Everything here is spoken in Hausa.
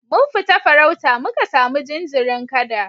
Mun fita farauta muka samu jinjirin kada